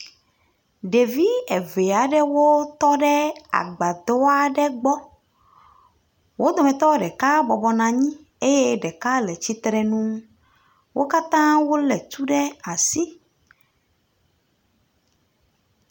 Ɖevi eve aɖewo tɔ ɖe agbadɔ aɖe gbɔ. Wo dometɔ ɖeka bɔbɔ nɔ anyi eye ɖeka le tsitre nu. Wo katã wole tu ɖe asi.